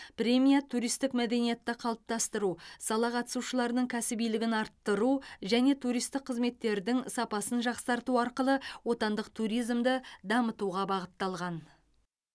премия туристік мәдениетті қалыптастыру сала қатысушыларының кәсібилігін арттыру және туристік қызметтердің сапасын жақсарту арқылы отандық туризмді дамытуға бағытталған